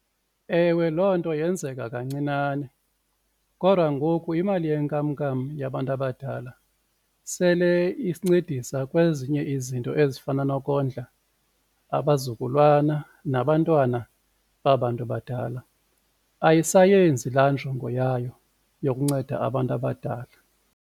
Ewe, loo nto yenzeka kancinane kodwa ngoku imali yenkamnkam yabantu abadala sele isincedisa kwezinye izinto ezifana nokondla abazukulwana nabantwana baba bantu badala, ayisayenzi laa njongo yayo yokunceda abantu abadala.